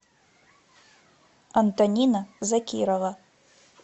антонина закирова